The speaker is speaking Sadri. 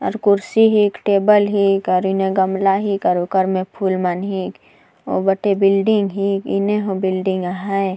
और कुर्सी हीक टेबल हीक और एकर में गमला हीक और ओकर में फूल मन हीक उ बाटे बिल्डिंग ही इमे हो बिल्डिंग आहय।